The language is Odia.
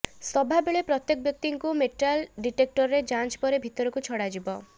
ସଭାବେଳେ ପ୍ରତ୍ୟେକ ବ୍ୟକ୍ତିଙ୍କୁ ମେଟାଲ ଡିଟେକ୍ଟରରେ ଯାଞ୍ଚ ପରେ ଭିତରକୁ ଛଡ଼ା ଯିବ